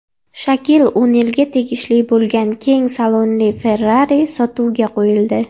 Shakil O‘nilga tegishli bo‘lgan keng salonli Ferrari sotuvga qo‘yildi .